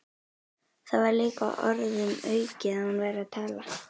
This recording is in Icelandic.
Það var líka orðum aukið að hún væri að tala.